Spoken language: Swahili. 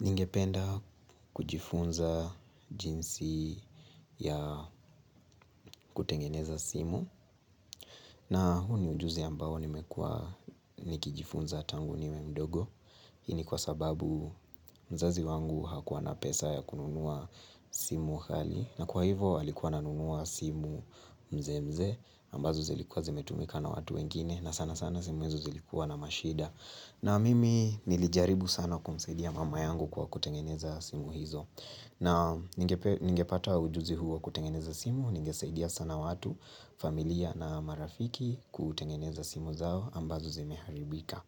Ningependa kujifunza jinsi ya kutengeneza simu na huu ni ujuzi ambao nimekuwa nikijifunza tangu niwe mdogo Hii ni kwa sababu mzazi wangu hakuwa na pesa ya kununua simu ghali na kwa hivo alikuwa ananunua simu mzeemzee ambazo zilikuwa zimetumika na watu wengine na sana sana simu hizo zilikuwa na mashida na mimi nilijaribu sana kumsaidia mama yangu kwa kutengeneza simu hizo na ningepata ujuzi huu wa kutengeneza simu ningesaidia sana watu familia na marafiki kutengeneza simu zao ambazo zimeharibika